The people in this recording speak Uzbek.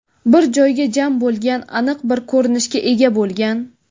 bir joyga jam bo‘lgan… Aniq bir ko‘rinishga ega bo‘lgan.